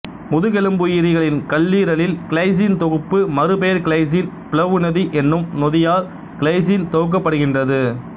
முதுகெலும்புயிரிகளின் கல்லீரலில் கிளைசின் தொகுப்பி மறு பெயர் கிளைசின் பிளவு நொதி என்னும் நொதியால் கிளைசின் தொகுக்கப்படுகின்றது